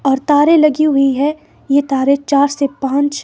और तारे लगी हुई है। ये तारे चार से पांच--